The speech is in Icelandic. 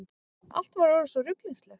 Allt var orðið svo ruglingslegt.